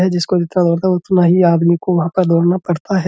है जिसको भी था। उतना ही आदमी को वहाँ पर दौड़ना पड़ता है।